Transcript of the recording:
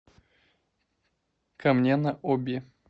камне на оби